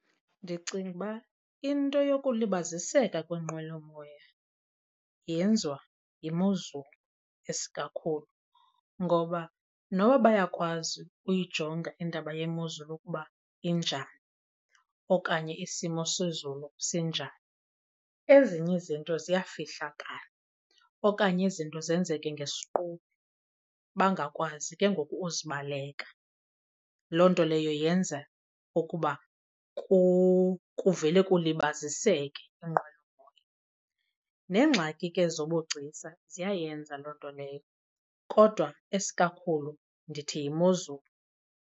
Ndicinga ukuba into yokulibaziseka kweenqwelomoya yenziwa yimozulu isikakhulu. Ngoba noba bayakwazi uyijonga indaba yemozulu ukuba injani okanye isimo sezulu sinjani, ezinye izinto ziyafihlakala okanye izinto zenzeke ngesiquphe bangakwazi ke ngoku uzibaleka. Loo nto leyo yenza ukuba kuvele kulibaziseke iinqwelomoya. Neengxaki ke zobugcisa ziyayenza loo nto leyo kodwa esikakhulu ndithi yimozulu.